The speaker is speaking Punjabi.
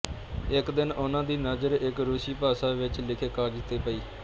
ਇੱਕ ਦਿਨ ਉਨ੍ਹਾਂ ਦੀ ਨਜ਼ਰ ਇੱਕ ਰੂਸੀ ਭਾਸ਼ਾ ਵਿੱਚ ਲਿੱਖੇ ਕਾਗਜ਼ ਤੇ ਪਈ